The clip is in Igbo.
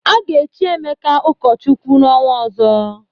A ga-echi Emeka ụkọchukwu n'ọnwa ọzọ.